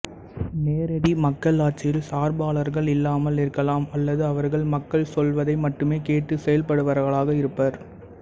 நேரடி மக்களாட்சியில் சார்பாளர்கள் இல்லாமல் இருக்கலாம் அல்லது அவர்கள் மக்கள் சொல்வதை மட்டுமே கேட்டுச் செயல்படுபவர்களாக இருப்பர்